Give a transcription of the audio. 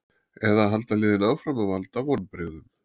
Eða halda liðin áfram að valda vonbrigðum?